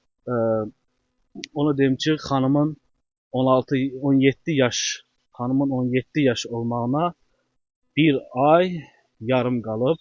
Amma onu deyim ki, xanımın 16, 17 yaş, xanımın 17 yaş olmağına bir ay yarım qalıb.